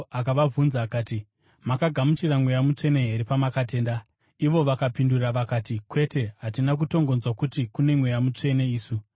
akavabvunza akati, “Makagamuchira Mweya Mutsvene here pamakatenda?” Vakapindura vakati, “Kwete, hatina kutongonzwa kuti kune Mweya Mutsvene isu.”